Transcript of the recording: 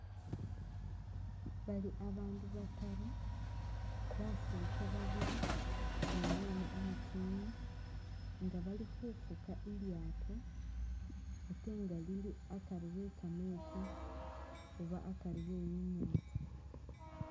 Bali bandu bataru basetsa babili numwana umutini nga bali khufuga lilyato ate nga lili akarii e'kametsi oba akarii enyanza